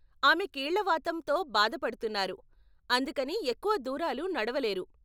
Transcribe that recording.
ఆమె కీళ్ళ వాతం తో బాధ పడుతున్నారు, అందుకని ఎక్కువ దూరాలు నడవలేరు.